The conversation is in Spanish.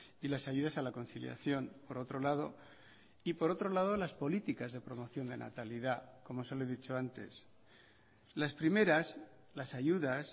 y las ayudas a la conciliación por otro lado y por otro lado las políticas de promoción de natalidad como se lo he dicho antes las primeras las ayudas